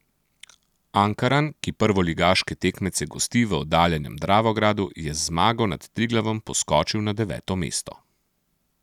Ankaran, ki prvoligaške tekmece gosti v oddaljenem Dravogradu, je z zmago nad Triglavom poskočil na deveto mesto.